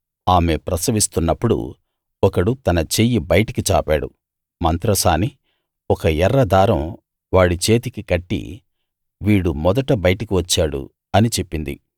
ఆమె ప్రసవిస్తున్నప్పుడు ఒకడు తన చెయ్యి బయటికి చాపాడు మంత్రసాని ఒక ఎర్ర దారం వాడి చేతికి కట్టి వీడు మొదట బయటికి వచ్చాడు అని చెప్పింది